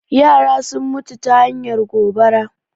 Yara sun mutu ta hanyar gobara